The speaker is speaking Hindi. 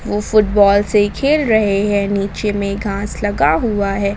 वो फुटबॉल से खेल रहे हैं नीचे में घास लगा हुआ है।